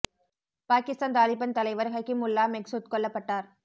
பாகிஸ்தான் தாலிபன் தலைவர் ஹக்கி முல்லா மெஹ்சூத் கொல்லப்பட்டார்